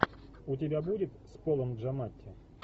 у тебя будет с полом джаматти